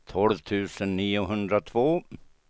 tolv tusen niohundratvå